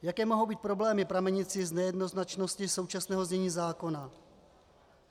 Jaké mohou být problémy pramenící z nejednoznačnosti současného znění zákona?